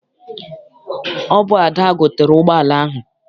Ọ bụ Ada gotere ụgbọala ahụ.